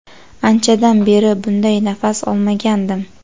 Anchadan beri bunday nafas olmagandim.